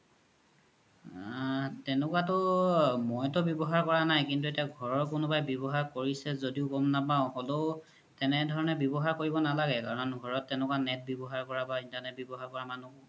আ তেনেকুৱা তু মইতু ৱ্যবহাৰ কৰা নাই কিন্তু এতিয়া ঘৰৰ কোনোবাই ৱ্যবহাৰ কৰিছে জোদিও গ'ম নপাও সদৌ তেনেকুৱা ধৰনে ৱ্যবহাৰ কৰিব নালাগে কাৰন ঘৰত তেনেকুৱা net ৱ্যবহাৰ কৰা বা internet ৱ্যবহাৰ কৰা মানুহ